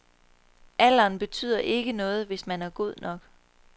Alderen betyder ikke noget, hvis man er god nok.